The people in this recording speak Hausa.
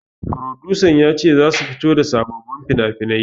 Furodusan ya ce zasu fito da sababbin finafinai